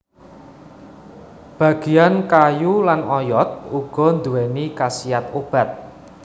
Bagian kayu lan oyot uga anduwèni khasiat obat